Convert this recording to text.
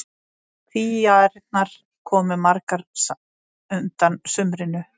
Kvíaærnar komu magrar undan sumrinu.